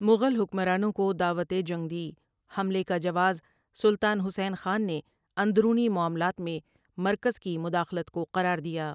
مغل حکمرانوں کو دعوت جنگ دی حملے کا جواز سلطان حسین خان نے اندرونی معاملات میں مرکز کی مداخلت کو قرار دیا ۔